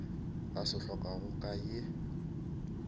a se hlokago ka ye